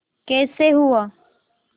कैसे हुआ